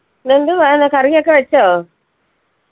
എന്തുവാണ് curry ഒക്കെ വെച്ചോ